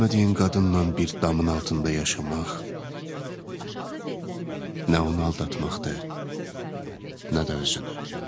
Sevmədiyin qadınnan bir damın altında yaşamaq nə onu aldatmaqdır, nə də özünü.